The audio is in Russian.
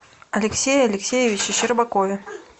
алексее алексеевиче щербакове